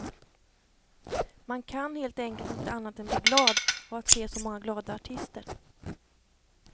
Man kan helt enkelt inte annat än bli glad av att se så många glada artister.